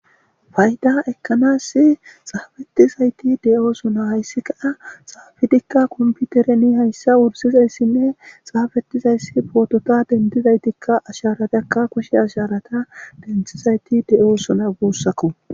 fayda ekkanas xaafetizayti de7oosona hayssi kaa xaafidikka komputereni hayssa wursizayssinne xaafetizayssi pootota dentizaytikka asharatakka kushe asharata denthizayti de7osona guussako